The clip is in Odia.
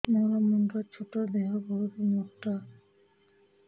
ମୋର ମୁଣ୍ଡ ଛୋଟ ଦେହ ବହୁତ ମୋଟା